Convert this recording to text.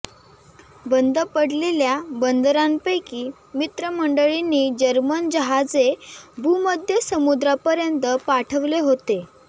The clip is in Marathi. बंद पडलेल्या बंदरांपैकी मित्रमंडळींनी जर्मन जहाजे भूमध्य समुद्रापर्यंत पाठवले होते